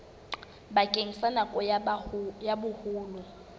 bakeng sa nako ya boholo